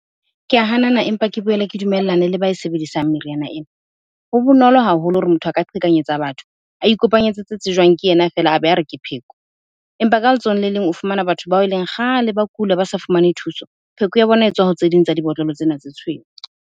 Ke a hanana empa ke boele ke dumellane le ba e sebedisang meriana ena. Ho bonolo haholo hore motho a ka qhekanyetsa batho, a ikopanyetse tsejwang ke ena feela a be a re ke pheko. Empa ka letsohong le leng o fumana batho bao e leng kgale ba kula ba sa fumane thuso, pheko ya bona etswa ho tse ding tsa dibotlolo tsena tse tshweu.